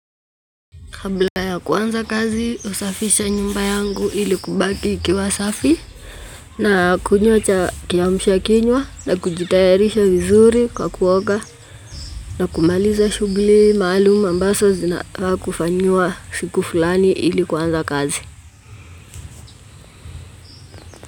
Kabla ya kuanza kazi, husafisha nyumba yangu ili ibaki ikiwa safi. Nakunywa kiamsha kinywa na kujitayarisha vizuri kwa kuoga. Na kumaliza shughuli maalum ambazo zinafaa kufanywa siku fulani ili kuanza kazi.